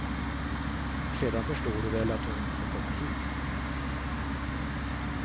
Sedan förstår du väl att hon får komma hit.